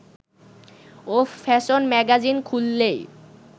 ও fashion magazine খুললেই